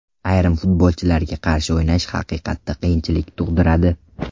Ayrim futbolchilarga qarshi o‘ynash haqiqatda qiyinchilik tug‘diradi.